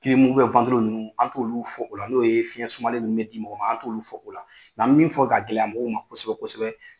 kilimu u bɛ wantilo ninnu an t'olu fɔ o la n'o ye fiɲɛn sumalen ninnu bɛ di ma an t'olu fɔ o la nka an bɛ min fɔ ka gɛlɛya mɔgɔw ma kosɛbɛ kosɛbɛ